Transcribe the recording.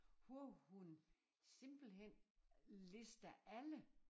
Hvor hun simpelthen lister alle